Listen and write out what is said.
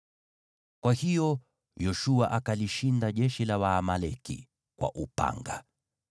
Kwa hiyo Yoshua akalishinda jeshi la Waamaleki kwa upanga.